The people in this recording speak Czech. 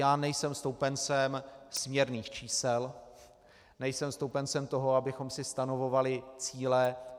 Já nejsem stoupencem směrných čísel, nejsem stoupencem toho, abychom si stanovovali cíle.